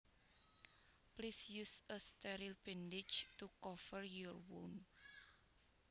Please use a sterile bandage to cover your wound